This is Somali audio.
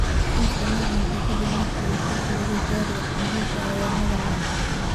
Qoyska nin dhintay ka dib markii uu ka booday gaadhiga xamuulka ah ayaa hadal la'.